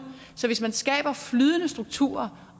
så hvis man skaber flydende strukturer